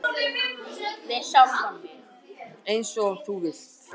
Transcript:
Eins og þú vilt.